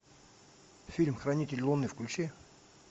фильм хранитель луны включи